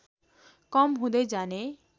कम हुँदै जाने